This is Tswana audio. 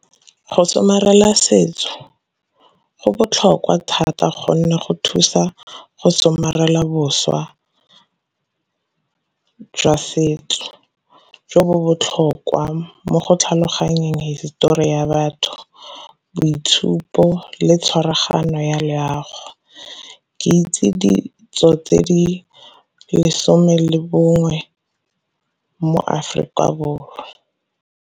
Go somarela setso go botlhokwa thata gonne go thusa go somarela boswa jwa setso, jo bo botlhokwa mo go tlhaloganyeng histori ya batho, boitshupo, le tshwaraganyo ya leago. Ke itse ditso tse di lesome le bongwe mo Aforika Borwa.